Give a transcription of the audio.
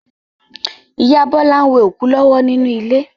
Ìyá Bọ́lá n we òkú lọ́wọ́ nínú ilé